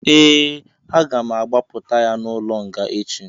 Ee, aga m agbapụta ya n'ụlọ nga echi